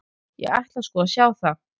Ég ætla sko að sjá það.